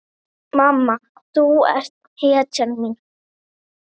Mamma þú ert hetjan mín.